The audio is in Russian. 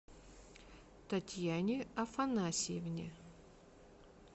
татьяне афанасьевне